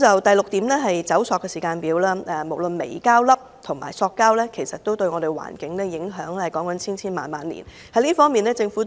第六點是"走塑"時間表，無論微膠粒及塑膠都對環境造成千萬年的影響。